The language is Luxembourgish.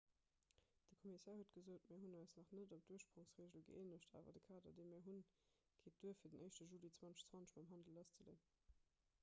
de kommissär huet gesot mir hunn eis nach net op d'ursprongsregel gëeenegt awer de kader dee mir hunn geet duer fir den 1 juli 2020 mam handel lasszeleeën